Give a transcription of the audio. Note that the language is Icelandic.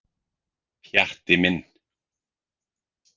Pjatti minn.